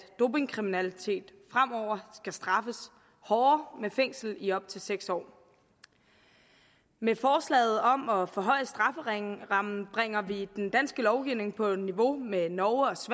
dopingkriminalitet fremover skal straffes hårdere med fængsel i op til seks år med forslaget om at forhøje strafferammen bringer vi den danske lovgivning på niveau med norges